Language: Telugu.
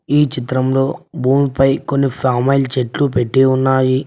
ఈ చిత్రంలో భూమిపై కొన్ని ఫామాయిల్ చెట్లు పెట్టి ఉన్నాయి.